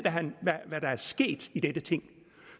hvad der er sket i dette ting